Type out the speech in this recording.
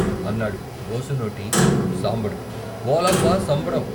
అన్నాడు బోసినోటి సాంబడు ఓలబ్బ సంబడం.